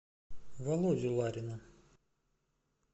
володю ларина